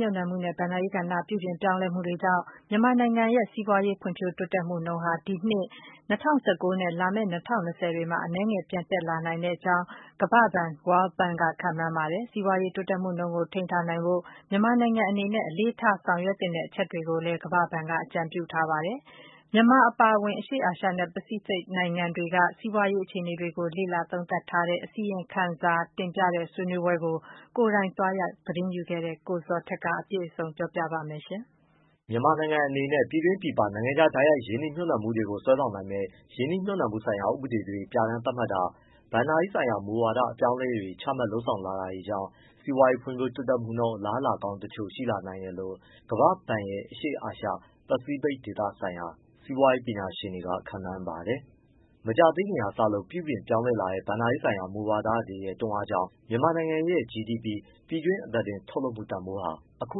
မြှုပ်နှံမှုနဲ့ ဘဏ္ဍာရေးကဏ္ဍ ပြုပြင်ပြောင်းလဲမှုတွေကြောင့် မြန်မာနိုင်ငံရဲ့စီးပွားရေး ဖွံ့ဖြိုးတိုးတက်မှုနှုန်းဟာ ဒီနှစ် ၂၀၁၉ နဲ့ လာမယ့် ၂၀၂၀ ခုနှစ်တွေမှာ အနည်းငယ် ပြန်တက်လာနိုင်တဲ့အကြောင်း ကမ္ဘာ့ဘဏ် World Bank က ခန့်မှန်းပါတယ်။ စီးပွားရေး တိုးတက်မှုနှုန်းကို ထိန်းထားနိုင်ဖို့အတွက် မြန်မာနိုင်ငံအနေနဲ့ အလေးထား ဆောင်ရွက်သင့်တဲ့ အချက်တွေကိုလည်း ကမ္ဘာ့ဘဏ်က အကြံပြုခဲ့ပါတယ်။ မြန်မာအပါအဝင် အရှေ့အာရှနဲ့ ပစိဖိတ်နိုင်ငံတွေက စီးပွားရေး အခြေအနေတွေကို လေ့လာသုံးသပ်တဲ့ အစီရင်ခံစာတင်ပြတဲ့ ဆွေးနွေးပွဲကို ကိုယ်တိုင် သွားရောက် သတင်းယူခဲ့တဲ့ ကိုဇော်ထက်က အပြည့်စုံ တင်ပြပေးပါမယ်။ မြန်မာနိုင်ငံအနေနဲ့ ပြည်တွင်းပြည်ပ နိုင်ငံခြား တိုက်ရိုက်ရင်းနှီး မြှုပ်နှံမှုတွေကို စွဲဆောင်နိုင်မယ့် ရင်းနှီးမြှုပ်နှံမှုဆိုင်ရာ ဥပဒေတွေ သတ်မှတ် ပြဋ္ဌာန်းတာ၊ ဘဏ္ဍာရေးဆိုင်ရာ မူဝါဒ အပြောင်းအလဲတွေချမှတ် လုပ်ဆောင်လာတာကြောင့် စီးပွားရေး ဖွံ့ဖြိုးတိုးတက်မှုနှုန်း အလားအလာ ကောင်းတချို့ ရှိလာတယ်လို့ ကမ္ဘာ့ဘဏ်ရဲ့ အရှေ့အာရှနဲ့ ပစိဖိတ်ဒေသဆိုင်ရာ စီးပွားရေးပညာရှင်တွေက ခန့်မှန်းပါတယ်။ မကြာသေးခင်ကစပြီး ပြုပြင်ပြောင်းလဲလာတဲ့ ဘဏ္ဍာရေးဆိုင်ရာ မူဝါဒတွေရဲ့ တွန်းအားကြောင့် မြန်မာ့နိုင်ငံရဲ့ GDP (ပြည်တွင်း အသားတင် ထုတ်လုပ်မှုတန်ဖိုး) ဟာ အခု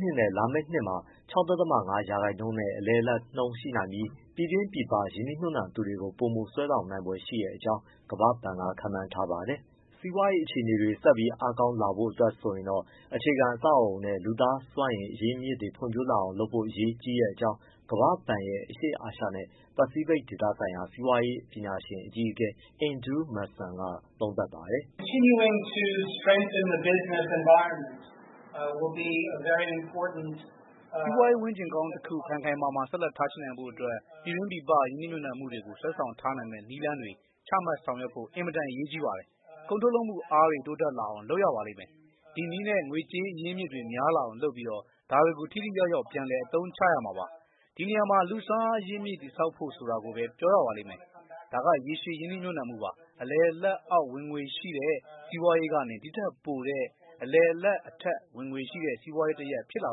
နှစ်နဲ့ လာမယ့်နှစ်မှာ ၆.၅ ရာခိုင်နှုန်းနဲ့ အလယ်အလတ်နှုန်းရှိနိုင်ပြီး ပြည်တွင်း၊ ပြည်ပ ရင်းနှီးမြှုပ်နှံသူတွေကို ပိုမို စွဲဆောင်နိုင်ဖွယ်ရှိတဲ့အကြောင်း ကမ္ဘာ့ဘဏ်က ခန့်မှန်းပါတယ်။ စီးပွားရေး အခြေအနေတွေ ဆက်ပြီး အားကောင်းလာဖို့ အတွက်မှာတော့ အခြေခံအဆောက်အအုံနဲ့ လူသားစွမ်းအင် အရင်းအမြစ်တွေ ဖွံ့ဖြိုးလာအောင် လုပ်ဖို့ အရေးကြီးတဲ့အကြောင်း ကမ္ဘာ့ဘဏ်ရဲ့ အရှေ့အာရှနဲ့ ပစိဖိတ်ဒေသဆိုင်ရာ စီးပွားရေး ပညာရှင်အကြီးအကဲ Andrew Mason က သုံးသပ်ပြောဆိုပါတယ်။ “စီးပွားရေး ဝန်းကျင်ကောင်းတခု ခိုင်ခိုင်မာမာ ဆက်လက်ထားရှိနိုင်ဖို့အတွက် ပြည်တွင်းပြည်ပ ရင်းနှီးမြှုပ်နှံမှုတွေကို စွဲဆောင်ထားနိုင်မယ့် နည်းလမ်းတွေ ချမှတ်ဆောင်ရွက်ဖို့ အင်မတန် အရေးကြီးပါတယ်။ ကုန်ထုတ်လုပ်မှုအားတွေ တိုးတက်လာအောင် လုပ်ရပါမယ်။ ဒီနည်းနဲ့ ငွေကြေးအရင်းအမြစ်တွေ များလာအောင်လုပ်ပြီး ဒါတွေကို ထိထိရောက်ရောက် ပြန်လည် အသုံးချရမှာပါ။ ဒီနေရာမှာ - လူ့စွမ်းအားအရင်းအမြစ် တည်ဆောက်ဖို့ဆိုတာကိုပဲ ပြောရပါလိမ့်မယ်။ ဒါက ရေရှည် ရင်းနှီးမြှုပ်နှံမှုပါ။ အလယ်အလတ်အောက် ဝင်ငွေရှိတဲ့ စီးပွားရေးကနေ ဒီ့ထက်ပိုတဲ့ အလယ်အလတ်အထက် ဝင်ငွေရှိတဲ့ စီးပွားရေးတရပ်ဖြစ်လာ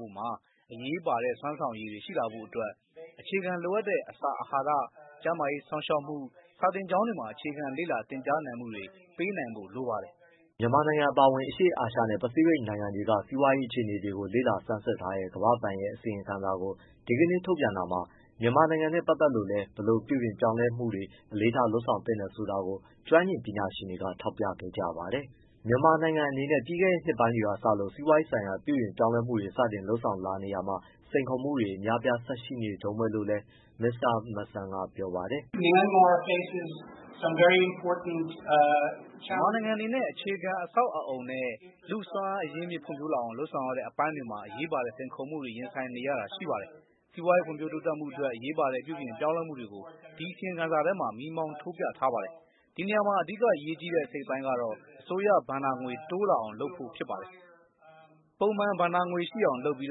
ဖို့မှာ အရေးပါတဲ့ စွမ်းဆောင်ရည်တွေ ရှိလာဖို့အတွက် အခြေခံလိုအပ်တဲ့ အစာအာဟာရ၊ ကျန်းမာရေးစောင့်ရှောက်မှု၊ စာသင်ကျောင်းတွေမှာ အခြေခံလေ့လာသင်ကြားနိုင်မှုတွေ ပေးနိုင်ဖို့လိုပါတယ်။” မြန်မာနိုင်ငံအပါအဝင် အရှေ့အာရှနဲ့ ပစိဖိတ်နိုင်ငံတွေက စီးပွားရေးအခြေအနေတွေကို လေ့လာစမ်းစစ်ထားတဲ့ ကမ္ဘာ့ဘဏ်ရဲ့ အစီရင်ခံစာကို ဒီကနေ့ ထုတ်ပြန်တာမှာ မြန်မာနိုင်ငံနဲ့ပတ်သက်လို့လည်း ဘယ်လိုပြုပြင်ပြောင်းလဲမှုတွေ အလေးထား လုပ်ဆောင်သင့်တယ်ဆိုတာကို ကျွမ်းကျင်ပညာရှင်တွေက ထောက်ပြခဲ့ကြပါတယ်။ မြန်မာနိုင်ငံအနေနဲ့ ပြီးခဲ့တဲ့ နှစ်ပိုင်းတွေကစလို့ စီးပွားရေးဆိုင်ရာ ပြုပြင်ပြောင်းလဲမှုတွေ စတင်လုပ်ဆောင်လာနေတာမှာ စိန်ခေါ်မှုတွေ အများအပြား ဆက်ရှိနေတုန်းပဲလို့လည်း မစ္စတာ Mason က ပြောပါတယ်။ “မြန်မာနိုင်ငံအနေနဲ့ အခြေခံ အဆောက်အအုံ နဲ့ လူ့စွမ်းအားအရင်းမြစ် ဖွံ့ဖြိုးလာအောင် လုပ်ဆောင်ရတဲ့အပိုင်းတွေမှာ အရေးပါတဲ့ စိန်ခေါ်မှုတွေ ရင်ဆိုင်နေရတာ ရှိပါတယ်။ စီးပွားရေး ဖွံ့ဖြိုးတိုးတက်ဖို့အတွက် အရေးပါတဲ့ ပြုပြင်ပြောင်းလဲမှုတွေကို ဒီအစီရင်ခံစာထဲမှာ မီးမှောင်း ထိုးပြထားပါတယ်။ ဒီနေရာမှာ အဓိက အရေးကြီးတဲ့အစိတ်အပိုင်းကတော့ အစိုးရဘဏ္ဍာငွေ တိုးလာအောင်လုပ်ဖို့ လိုပါတယ်။ ပုံမှန် ဘဏ္ဍာငွေ ရှိအောင်လုပ်ပြီး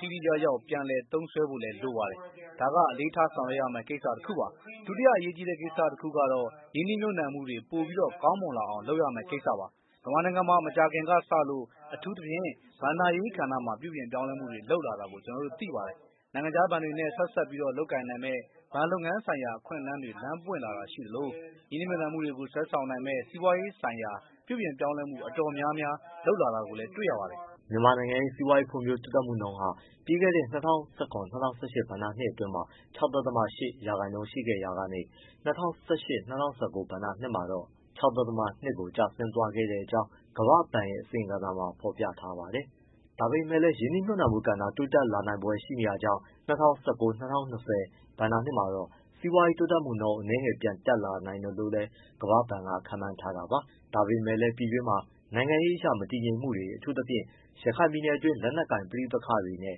ထိထိရောက်ရောက် ပြန်လည် သုံးစွဲဖို့လိုပါတယ်။ ဒါက အလေးထားဆောင်ရွက်ရမယ့် ကိစ္စတခုပါ။ ဒုတိယအရေးကြီးတဲ့ ကိစ္စတခုကတော့ - ရင်းနှီးမြှုပ်နှံမှုတွေ ပိုမိုကောင်းမွန်လာအောင် လုပ်ရမယ့်ကိစ္စပါ။ မြန်မာနိုင်ငံမှာ မကြာခင်ကစလို့ အထူးသဖြင့် ဘဏ္ဍာရေးကဏ္ဍမှာ ပြုပြင်ပြောင်းလဲမှုတွေ လုပ်လာတာ ကျနော်တို့သိပါတယ်။ နိုင်ငံခြားဘဏ်တွေနဲ့ ဆက်စပ်လုပ်ကိုင်နိုင်မယ့် ဘဏ်လုပ်ငန်းဆိုင်ရာ အခွင့်အလမ်းတွေ လမ်းပွင့်လာတာရှိသလို၊ ရင်းနှီးမြှုပ်နှံမှုတွေကို စွဲဆောင်နိုင်မယ့် စီးပွားရေးဆိုင်ရာ ပြုပြင်ပြောင်းလဲမှု အတော်များများ လုပ်ဆောင်လာတာတွေ တွေ့ရပါတယ်။” မြန်မာနိုင်ငံရဲ့ စီးပွားရေးဖွံ့ဖြိုး တိုးတက်မှုနှုန်းဟာ ပြီးခဲ့တဲ့ ၂၀၁၇-၂၀၁၈ ဘဏ္ဍာနှစ်အတွင်း ၆.၈ ရာခိုင်နှုန်း ရှိခဲ့ရာက ၂၀၁၈-၁၉ ဘဏ္ဍာနှစ်မှာတော့ ၆.၂ ရာခိုင်နှုန်း ကို ကျဆင်းသွားခဲ့တဲ့အကြောင်း ကမ္ဘာ့ဘဏ်ရဲ့ အစီရင်ခံစာမှာ ဖော်ပြထားပါတယ်။ ဒါပေမဲ့လည်း ရင်းနှီးမြှုပ်နှံမှုကဏ္ဍ တိုးတက်လာနိုင်ဖွယ် ရှိနေတာကြောင့် ၂၀၁၉-၂၀ ဘဏ္ဍာနှစ်မှာတော့ စီးပွားရေးတိုးတက်မှုနှုန်း အနည်းငယ် ပြန်တက်လာနိုင်တယ်လို့ ကမ္ဘာ့ဘဏ်က ခန့်မှန်းထားတာပါ။ ဒါပေမဲ့လည်း တိုင်းပြည်တွင်း နိုင်ငံရေးအရ မတည်ငြိမ်မှုတွေ၊ အထူးသဖြင့် ရခိုင်ပြည်နယ်တွင်း လက်နက်ကိုင်ပဋိပက္ခတွေ နဲ့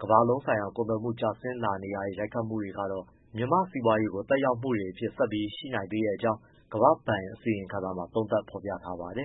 ကမ္ဘာလုံးဆိုင်ရာ ကုန်သွယ်မှု ကျဆင်းလာနေတာရဲ့ ရိုက်ခတ်မှုတွေကတော့ မြန်မာ့စီးပွားရေးအပေါ် သက်ရောက်မှုတွေအဖြစ် ဆက်ပြီးရှိနေနိုင်သေးတဲ့အကြောင်း ကမ္ဘာ့ဘဏ် အစီရင်ခံစာမှာ သုံးသပ် ဖော်ပြထားပါတယ်